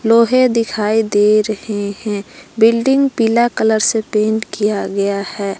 लोहे दिखाई दे रही हैं बिल्डिंग पीला कलर से पेंट किया गया है।